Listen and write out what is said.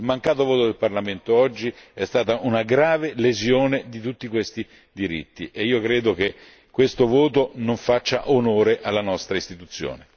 Il mancato voto del Parlamento oggi è stata una grave lesione di tutti questi diritti e io credo che questo voto non faccia onore alla nostra Istituzione!